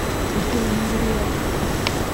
афина невероятно